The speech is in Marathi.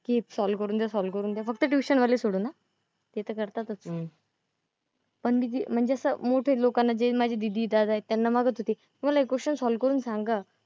की सॉल्व्ह करून द्या, सॉल्व्ह करून द्या फक्त ट्यूशन वाले सोडून हा. ते तर करतातच. पण म्हणजे असं मोठे लोकांना जे माझे दीदी, दादा आहेत त्यांना मागत होते, की मला हे question सॉल्व्ह करून सांगा.